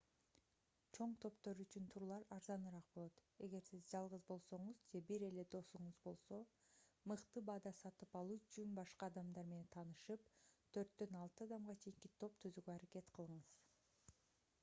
чоң топтор үчүн турлар арзаныраак болот эгер сиз жалгыз болсоңуз же бир эле досуңуз болсо мыкты баада сатып алуу үчүн башка адамдар менен таанышып төрттөн алты адамга чейинки топ түзүүгө аракет кылыңыз